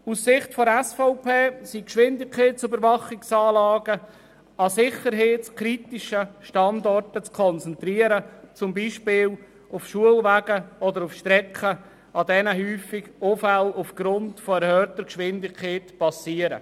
Aus Sicht der SVP sind Geschwindigkeitsüberwachungsanlagen an sicherheitskritischen Standorten zu konzentrieren, zum Beispiel an Schulwegen oder an Strecken, auf denen sich häufig Unfälle aufgrund von erhöhter Geschwindigkeit ereignen.